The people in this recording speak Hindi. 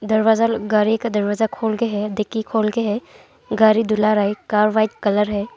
दरवाजा गारी का दरवाजा खोल के है दिग्गी खोल के है गारी दुला रही कार व्हाइट कलर है।